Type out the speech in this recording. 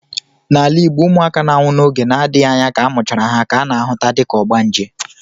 N'ala Igbo, ụmụaka na-anwụ n'oge na-adịghị anya ka amụchara ha ka ana ahụta dịka ogbanje.